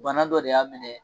Bana dɔ de y'a minɛ.